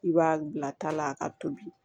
I b'a bila ta la a ka tobi